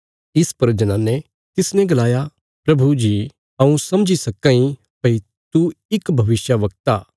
इस पर जनाने तिसने गलाया प्रभु जी हऊँ समझी सक्कां इ भई तू इक भविष्यवक्ता